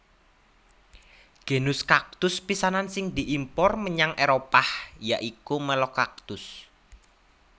Genus kaktus pisanan sing diimpor menyang Éropah ya iku Melocactus